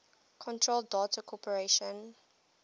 control data corporation